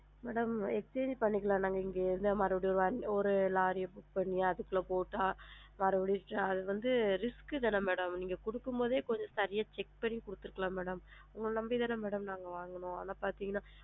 mam exchange பண்ணிக்கலாம் நாங்க இங்க இருந்து மறுபடியும் வந்து ஒரு லாரி புடிச்சு தனியா அதுக்குள்ள போட்டு மறுபடி அது வந்து risk தான madam நீங்க குடுக்கும்போதே கொஞ்சம் சரியா check பண்ணி குடுத்திருக்கலாம்ல madam உங்கள நம்பி தான madam நாங்க வாங்குனோம் ஆனா பாத்திங்கனா